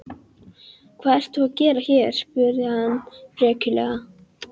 Hvað ert þú að gera hér? spurði hann frekjulega.